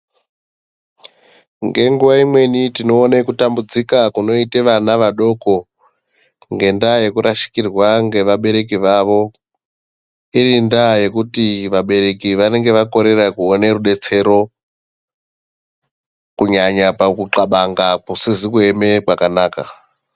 Ngenguwa imweni tinoone kutambudzika kunoite vana vadoko ngendaa yekurashikirwa ngeabereki vavo. Iri ndaa yekuti vabereki vanenge vakorera kuone rudetsero, kunyanya pabuxabanga kusizi kueme kwakanaka.